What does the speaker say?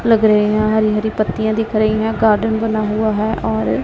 लग रहे हैं हरी-हरी पत्तियां दिख रही है गार्डन बना हुआ है और --